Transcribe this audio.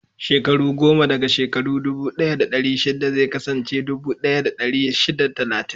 Shekaru goma daga shekaru dubu ɗaya da ɗari shida zai kasance dubu ɗaya da dari shida da talatin.